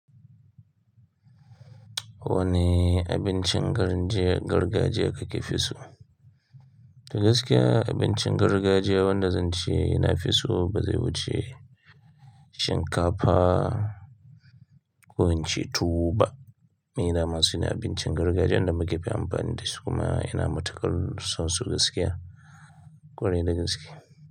Wanne abincin gargajiya kake fi so? Toh gaskiya abincin gargajiya wanda zan ce ina fi so ba zai wuce shinkafa ko in ce tuwo ba. Ina masu yin abincin gargajiya inda muka fi amfani dasu kuma ina matukar so sun gaskiya, ƙwarai da gaskiya.